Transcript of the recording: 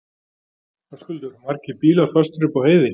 Höskuldur: Margir bílar fastir upp á heiði?